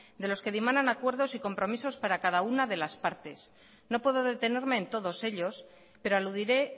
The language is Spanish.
de los que dimanan acuerdos y compromisos para cada una de las partes no puedo detenerme en todos ellos pero aludiré